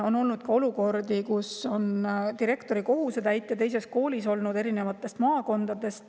On olnud ka olukordi, kus on direktori kohusetäitja olnud teises koolis, maakonnas.